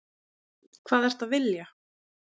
Hvað ertu að vilja?